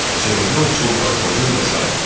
Sehrli ovsunları pozur və sairə.